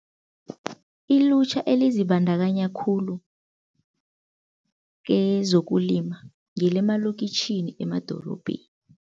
Ilutjha elizibandakanya khulu kezokulima ngelemalokitjhini emadorobheni.